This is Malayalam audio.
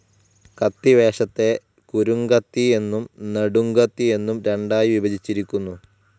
കത്തിവേഷത്തെ കുരുംകത്തി എന്നും നെടും കത്തി എന്നും രണ്ടായിവിഭജിച്ചിരിക്കുന്നു.